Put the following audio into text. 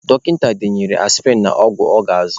Dọkịta denyere aspịrịn na ọgwụ ọ ga-azụ.